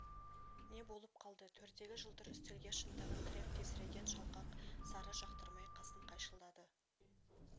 не болып қалды төрдегі жылтыр үстелге шынтағын тіреп тесірейген жалқақ сары жақтырмай қасын қайшылады